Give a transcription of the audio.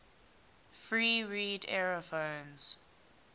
free reed aerophones